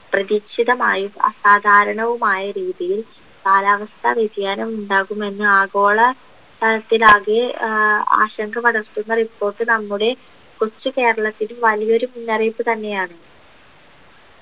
പ്രതീക്ഷിതമായും അസാധാരണവുമായ രീതിയിൽ കാലാവസ്ഥ വ്യതിയാനം ഉണ്ടാകുമെന്ന് ആഗോള തലത്തിൽ ആകെ ഏർ ആശങ്ക പടർത്തുന്ന report നമ്മുടെ കൊച്ചു കേരളത്തിൽ വലിയൊരു മുന്നറിയിപ്പ് തന്നെയാണ്